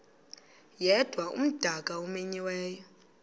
yedwa umdaka omenyiweyo